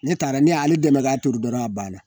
Ne taara ne y'ale dɛmɛ k'a turu dɔrɔn a banna